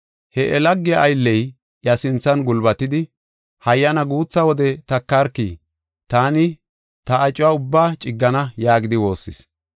“He iya lagee aylley iya sinthan gulbatidi, ‘Hayyana guutha wode takarki taani ta acuwa ubbaa ciggana’ yaagidi woossis.